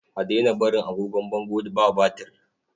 A daina barin agogon bango ba batir.